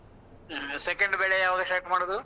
ಹಾ. second ಬೆಳೆ ಯಾವಾಗ start ಮಾಡುದು?